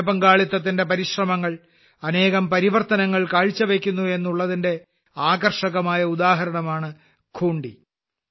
ജനപങ്കാളിത്തത്തിന്റെ പരിശ്രമങ്ങൾ അനേകം പരിവർത്തനങ്ങൾ കാഴ്ചവയ്ക്കുന്നു എന്നുള്ളതിന്റെ ആകർഷകമായ ഉദാഹരണമാണ് ഖൂൺട്ടി